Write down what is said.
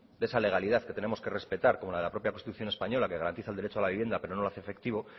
de esa legalidad que tenemos que respetar como la de la propia constitución española que garantiza el derecho a la vivienda pero no lo hace efectiva